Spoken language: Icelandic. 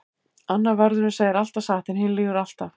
Annar vörðurinn segir alltaf satt en hinn lýgur alltaf.